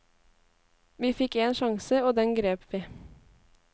Vi fikk en sjanse og den grep vi.